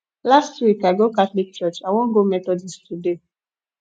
last week i go catholic church i wan go methodist today